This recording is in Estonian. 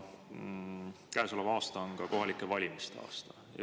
Käesolev aasta on ka kohalike valimiste aasta.